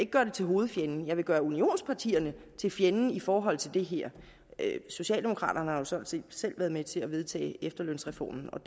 gøre eu til hovedfjenden jeg vil gøre unionspartierne til fjenden i forhold til det her socialdemokraterne har jo sådan set selv været med til at vedtage efterlønsreformen og